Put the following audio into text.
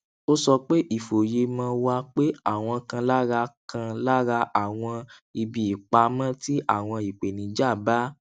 ó sọ pé ìfòyemò wà pé àwọn kan lára kan lára àwọn ibi ìpamọ tí àwọn ìpèníjà bá